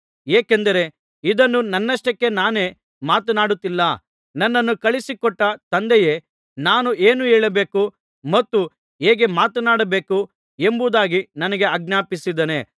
ಏಕೆಂದರೆ ಇದನ್ನು ನನ್ನಷ್ಟಕ್ಕೆ ನಾನೇ ಮಾತನಾಡುತ್ತಿಲ್ಲ ನನ್ನನ್ನು ಕಳುಹಿಸಿ ಕೊಟ್ಟ ತಂದೆಯೇ ನಾನು ಏನು ಹೇಳಬೇಕು ಮತ್ತು ಹೇಗೆ ಮಾತನಾಡಬೇಕು ಎಂಬುದಾಗಿ ನನಗೆ ಆಜ್ಞಾಪಿಸಿದ್ದಾನೆ